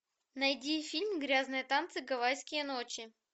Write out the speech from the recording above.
найди фильм грязные танцы гавайские ночи